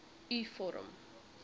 u vorm